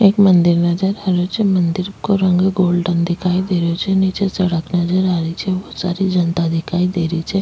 एक मंदिर नजर आ रहियो छे मंदिर को रंग गोल्डन दिखाई दे रहियो छे नीचे सड़क नजर आ रही छे बहुत सारी जनता दिखाई दे रही छे।